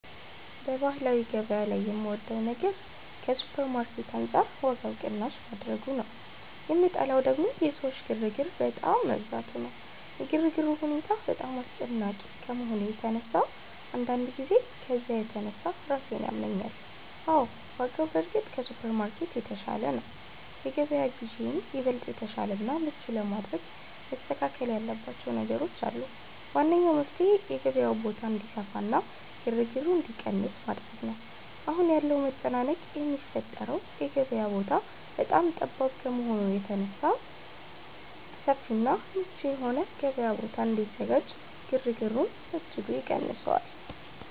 በባህላዊ ገበያ ላይ የምወደው ነገር ከሱፐርማርኬት አንጻር ዋጋው ቅናሽ ማድረጉ ነው፤ የምጠላው ደግሞ የሰዎች ግርግር በጣም መብዛቱ ነው። የግርግሩ ሁኔታ በጣም አስጨናቂ ከመሆኑ የተነሳ አንዳንድ ጊዜ ከዝያ የተነሳ ራሴን ያመኛል። አዎ፣ ዋጋው በእርግጥ ከሱፐርማርኬት የተሻለ ነው። የገበያ ግዢዬን ይበልጥ የተሻለና ምቹ ለማድረግ መስተካከል ያለባቸው ነገሮች አሉ። ዋነኛው መፍትሔ የገበያው ቦታ እንዲሰፋና ግርግሩ እንዲቀንስ ማድረግ ነው። አሁን ያለው መጨናነቅ የሚፈጠረው የገበያው ቦታ በጣም ጠባብ ከመሆኑ የተነሳ በመሆኑ፣ ሰፊና ምቹ የሆነ የገበያ ቦታ ቢዘጋጅ ግርግሩን በእጅጉ ይቀንሰዋል